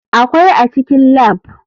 Akwai a cikin lab.